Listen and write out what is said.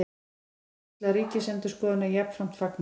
Er skýrslu Ríkisendurskoðunar jafnframt fagnað